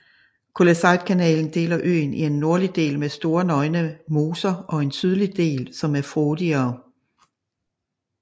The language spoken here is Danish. Kulleseidkanalen deler øen i en nordlig del med store nøgne moser og en sydlig del som er frodigere